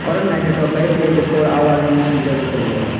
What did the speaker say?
oro naitotok kelaioe twenty four hour hinoi sijak bo tongo.